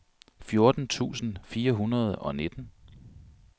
fjorten tusind fire hundrede og nitten